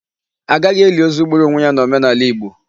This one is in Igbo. A gaghị eli ozu gburu ionwe ya n'omenala Igbo.